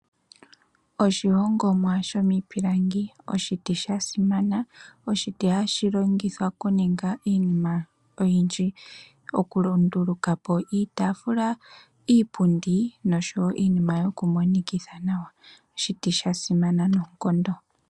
Oshihongomwa shomiipilangi oshiti sha simana. Oshiti hashi longithwa okuninga iinima oyindji. Okunduluka po iitaafula, iipundi nosho wo iinima yokumonikitha nawa. Oshiti sha simana noonkondo.